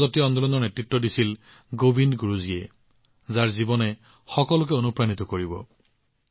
এই জনজাতীয় আন্দোলনৰ নেতৃত্ব দিছিল গোবিন্দ গুৰুজীয়ে যাৰ জীৱন সকলোৰে বাবে অনুপ্ৰেৰণা স্বৰূপ